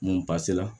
N ba se la